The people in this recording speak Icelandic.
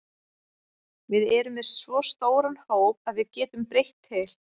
Við erum með svo stóran hóp að við getum breytt til.